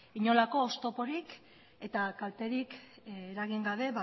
inolako oztoporik eta kalterik eragin gabe